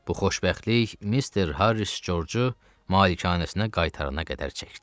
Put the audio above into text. Bu xoşbəxtlik Mister Harris George-u malikanəsinə qaytarana qədər çəkdi.